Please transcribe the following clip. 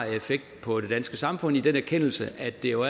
på det danske samfund i den erkendelse at det jo